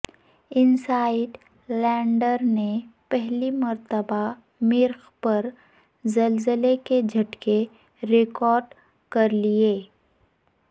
insight lander نے پہلی مرتبہ مریخ پر زلزلے کے جھٹکے ریکارڈ کر لیے